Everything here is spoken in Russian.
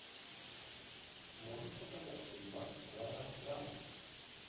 можешь показать фильмас жанра драма